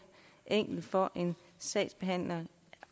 enkelt for en sagsbehandler